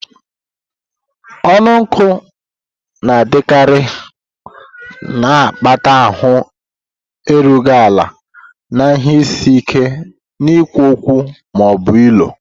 Ọnụ nkụ na-adịkarị, na-akpata ahụ erughị ala na ihe isi ike n'ikwu okwu ma ọ bụ ilo.